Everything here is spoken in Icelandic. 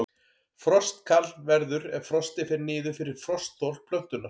Frostkal verður ef frostið fer niður fyrir frostþol plöntunnar.